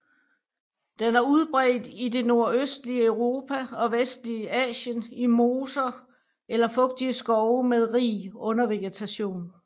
Den er udbredt i det nordøstlige Europa og vestlige Asien i moser eller fugtige skove med rig undervegetation